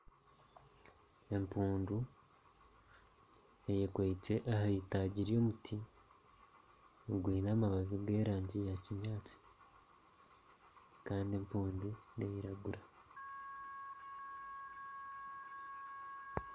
Empundu eyemereire aha itaagi ry'omuti ogwine amababi g'erangi ya kinyaatsi, kandi empundu neeyiragura